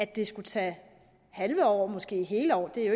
det skulle tage halve år måske hele år det er